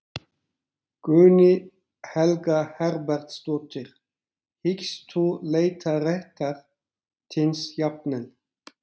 Guðný Helga Herbertsdóttir: Hyggst þú leita réttar þíns jafnvel?